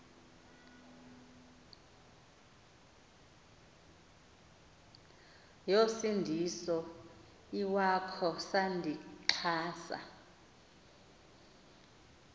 yosindiso iwakho sandixhasa